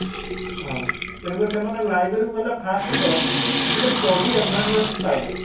ହଁ ତେଣୁକରି ସେମାନେ library କୁ ଗଲେ first ତ ଗୋଟେ study environment ପାଇଲେ